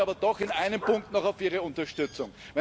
Ich hoffe aber doch in einem Punkt noch auf Ihre Unterstützung.